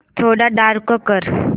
थोडा डार्क कर